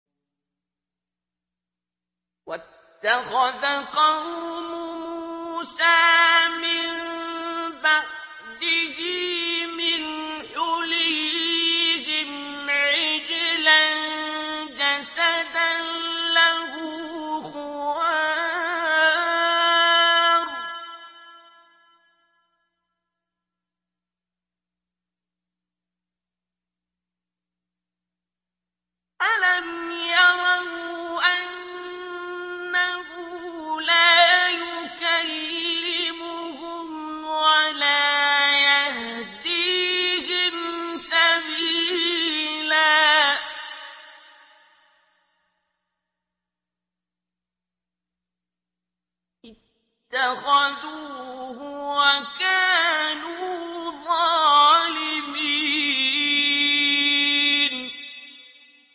وَاتَّخَذَ قَوْمُ مُوسَىٰ مِن بَعْدِهِ مِنْ حُلِيِّهِمْ عِجْلًا جَسَدًا لَّهُ خُوَارٌ ۚ أَلَمْ يَرَوْا أَنَّهُ لَا يُكَلِّمُهُمْ وَلَا يَهْدِيهِمْ سَبِيلًا ۘ اتَّخَذُوهُ وَكَانُوا ظَالِمِينَ